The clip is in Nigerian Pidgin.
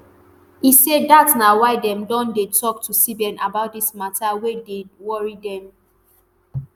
e say dat na why dem don dey tok to cbn about dis mata wey dey worry dem.